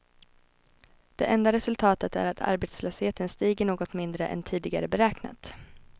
Det enda resultatet är att arbetslösheten stiger något mindre än tidigare beräknat.